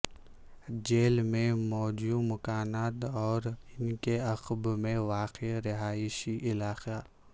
jail میں موجو مکانات اور ان کے عقب میں واقع رہائشی علاقہ